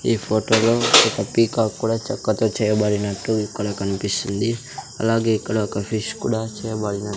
ఈ ఫోటోలో ఒక పీకాక్ కూడా చక్కతో చేయబడినట్టు ఇక్కడ కనిపిస్తుంది అలాగే ఇక్కడ ఒక ఫిష్ కూడా చేయబడిన --